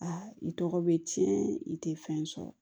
Aa i tɔgɔ bɛ tiɲɛ i tɛ fɛn sɔrɔ